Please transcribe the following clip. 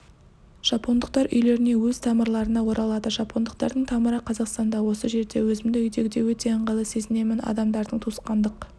жапондықтар үйлеріне өз тамырларына оралады жапондықтардың тамыры қазақстанда осы жерде өзімді үйдегідей өте ыңғайлы сезінемін адамдардың туысқандық